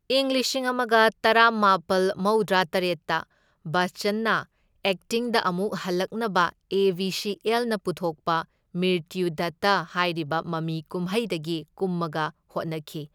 ꯏꯪ ꯂꯤꯁꯤꯡ ꯑꯃꯒ ꯇꯔꯥꯃꯥꯄꯜ ꯃꯧꯗ꯭ꯔꯥ ꯇꯔꯦꯠꯇ ꯕꯆꯆꯟꯅ ꯑꯦꯛꯇꯤꯡꯗ ꯑꯃꯨꯛ ꯍꯜꯂꯛꯅꯕ ꯑꯦ ꯕꯤ ꯁꯤ ꯑꯦꯜꯅ ꯄꯨꯊꯣꯛꯄ ꯃ꯭ꯔꯤꯇ꯭ꯌꯨꯗꯥꯇꯥ ꯍꯥꯏꯔꯤꯕ ꯃꯃꯤ ꯀꯨꯝꯍꯩꯗꯒꯤ ꯀꯨꯝꯃꯒ ꯍꯣꯠꯅꯈꯤ꯫